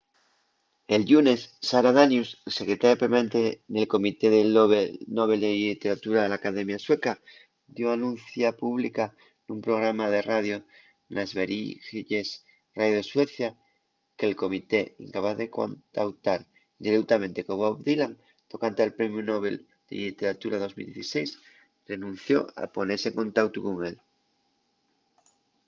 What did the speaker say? el llunes sara danius secretaria permanente nel comité del nobel de lliteratura de l'academia sueca dio anuncia pública nun programa de radio na sveriges radio de suecia que'l comité incapaz de contautar direutamente con bob dylan tocante al premiu nobel de lliteratura 2016 renunció a ponese en contautu con él